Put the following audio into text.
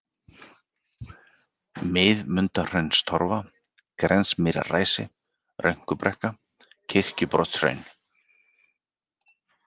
Miðmundahraunstorfa, Grensmýrarræsi, Rönkubrekka, Kirkjubrotshraun